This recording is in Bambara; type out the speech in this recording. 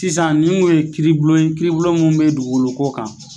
Sisan nin kun ye kiiribulon ye kiiribulon mun bɛ dugukoloko kan.